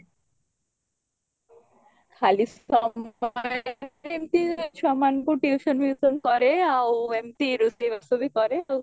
ଖାଲି ସମୟରେ ଏମତି ଛୁଆମାନଙ୍କୁ tuition ଫିଉସନ କରେ ଆଉ ଏମତି ରୋଷେଇ ବାସ ବି କରେ ଆଉ